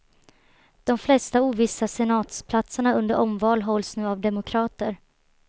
De flesta ovissa senatsplatserna under omval hålls nu av demokrater.